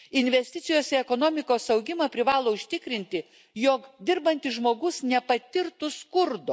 Investicijos į ekonomikos augimą privalo užtikrinti, jog dirbantis žmogus nepatirtų skurdo.